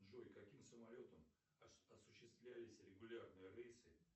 джой каким самолетом осуществлялись регулярные рейсы